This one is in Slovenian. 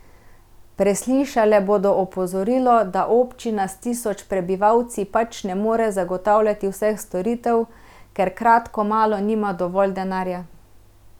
Preslišale bodo opozorilo, da občina s tisoč prebivalci pač ne more zagotavljati vseh storitev, ker kratko malo nima dovolj denarja.